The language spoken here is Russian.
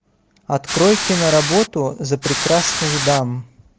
открой киноработу за прекрасных дам